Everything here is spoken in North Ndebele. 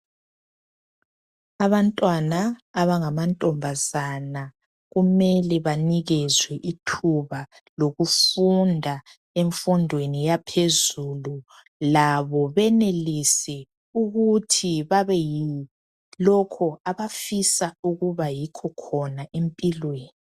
Abantwana abangamantombazana kumele banikezwe ithuba lokufunda imfundo yaphezulu ukuze benelise ukuba yilokho abafisa ukukwenza empilweni.